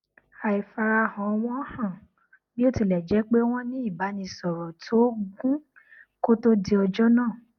àìfarahàn wọn hàn bí ó tilẹ jẹ pé wọn ní ìbánisọrọ tó gún kó to di ọjọ náà